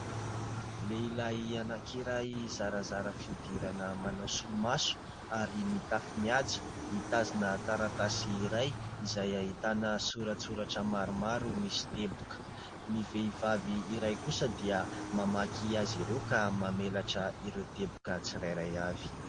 Lehilahy anankiray zarazara fihodirana manao solomaso ary mitafy mihaja, mitazona taratasy iray izay ahitana soratra maromaro misy teboka. Ny vehivavy iray kosa dia mamaky azy ireo ka mamelatra ireo teboka tsirairay avy.